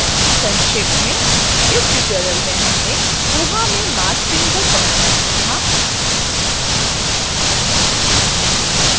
संक्षेप में इस tutorial में हमने koha में marc framework बनाना सीखा